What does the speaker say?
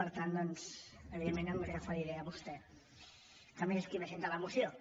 per tant doncs evidentment em referiré a vostè que a més és qui presenta la moció